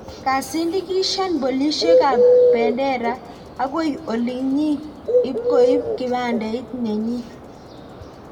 Kasindikishan polishiek Kabendera agoi olinyii ipkoip kipandeit nenyi